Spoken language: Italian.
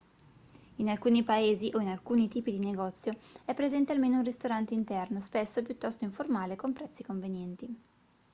in alcuni paesi o in alcuni tipi di negozio è presente almeno un ristorante interno spesso piuttosto informale con prezzi convenienti